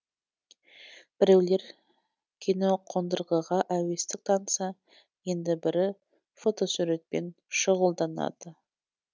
біреулер киноқондырғыға әуестік танытса енді бірі фотосуретпен шұғылданады